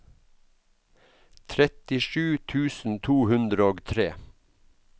trettisju tusen to hundre og tre